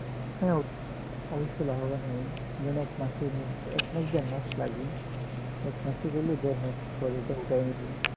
হ্যাঁ অবশ্যই লাভবান হয় এক মাসের মধ্যে এক মাস দেড় মাস লাগে এক মাসের জন্য দেড় মাস পরে উঠিয়ে নিলো